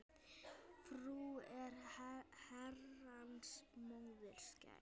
Frú er Herrans móðir skær.